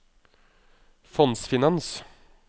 fondsfinans